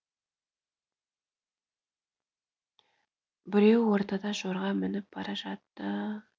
біреуі ортада жорға мініп бара жатты